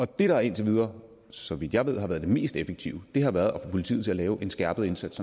det der indtil videre så vidt jeg ved har været det mest effektive har været at få politiet til at lave en skærpet indsats